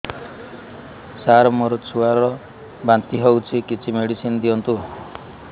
ସାର ମୋର ଛୁଆ ର ବାନ୍ତି ହଉଚି କିଛି ମେଡିସିନ ଦିଅନ୍ତୁ